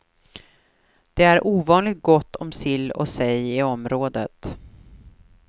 Det är ovanligt gott om sill och sej i området.